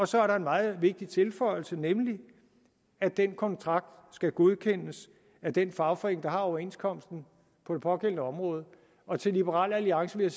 så er der en meget vigtig tilføjelse nemlig at den kontrakt skal godkendes af den fagforening der har overenskomsten på det pågældende område og til liberal alliance vil